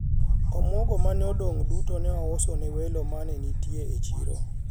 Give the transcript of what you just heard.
omuogo mane odong' duto ne ous ne welo mane nitie e siro